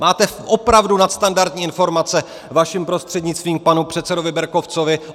Máte opravdu nadstandardní informace, vaším prostřednictvím panu předsedovi Berkovcovi.